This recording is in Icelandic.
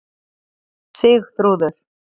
Sigþrúður